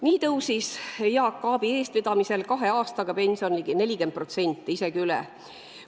Nii tõusis Jaak Aabi eestvedamisel pension kahe aastaga ligi 40%, isegi rohkem.